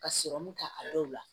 Ka kɛ a dɔw la